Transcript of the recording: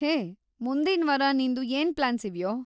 ಹೇ, ಮುಂದಿನ್ವಾರ ನಿಂದು ಏನ್‌ ಪ್ಲಾನ್ಸ್‌ ಇವ್ಯೋ?